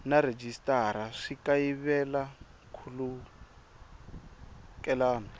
na rhejisitara swi kayivela nkhulukelano